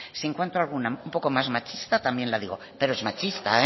si encuentro un poco más machista también la digo pero es machista